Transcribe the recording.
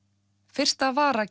fyrsta vara